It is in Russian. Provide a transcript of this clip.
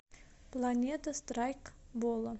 планета страйкбола